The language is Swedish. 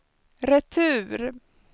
retur